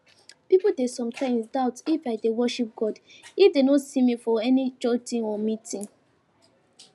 pipo dey sometimes doubt if i dey worship god if dem no see me for any church thing or meeting